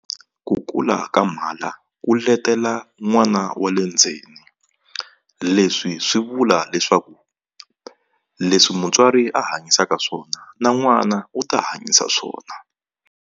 Ku kula ka mhala ku letela n'wana wa le ndzeni leswi swi vula leswaku leswi mutswari a hanyisaka swona na n'wana u ta hanyisa swona.